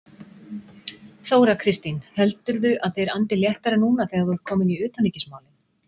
Þóra Kristín: Heldurðu að þeir andi léttara núna þegar þú ert kominn í utanríkismálin?